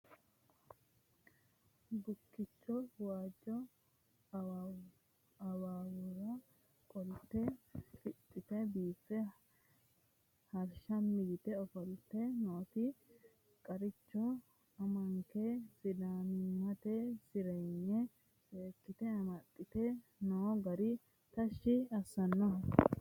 Bukkicho waajo awuwera qolte fixite biife harshami yite ofolte nooti qaricho amanke sidaamimmate sirinye seekkite amaxite no gari tashshi assanoho